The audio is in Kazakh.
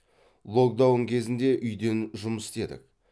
локдаун кезінде үйден жұмыс істедік